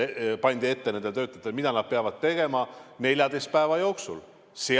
Nendele töötajatele kirjutati ette, mida nad peavad tegema 14 päeva jooksul.